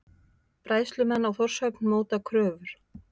Bræðslumenn á Þórshöfn móta kröfur